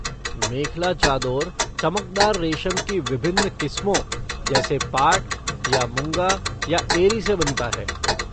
मेखला चादोर चमकदार रेशम की विभिन्न क़िस्मों जैसे पाट, या मुगा या एरी से बनता है।